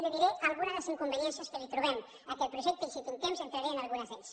li diré alguna de les inconveniències que trobem a aquest projecte i si tinc temps entraré en algunes d’elles